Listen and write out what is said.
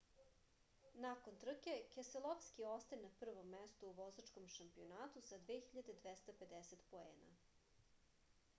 nakon trke keselovski ostaje na prvom mestu u vozačkom šampionatu sa 2250 poena